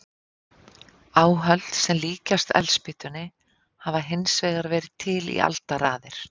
Áhöld sem líkjast eldspýtunni hafa hins vegar verið til í aldaraðir.